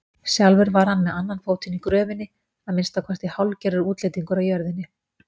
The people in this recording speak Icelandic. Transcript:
Sjálfur var hann með annan fótinn í gröfinni, að minnsta kosti hálfgerður útlendingur á jörðinni.